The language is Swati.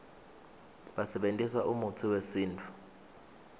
basebentisa umutsi wesintfu